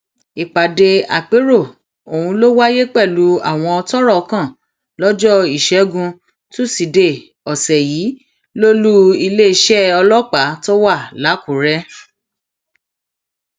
ìpàdé àpérò ọhún ló wáyé pẹlú àwọn tọrọ kàn lọjọ ìṣẹgun tusidee ọsẹ yìí lólu iléeṣẹ ọlọpàá tó wà lákùrẹ